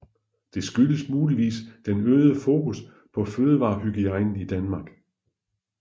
Det skyldes muligvis den øgede fokus på fødevarehygiejne i Danmark